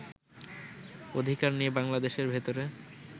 অধিকার নিয়ে বাংলাদেশের ভেতরে